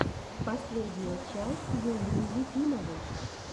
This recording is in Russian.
последняя часть юлии ефимовой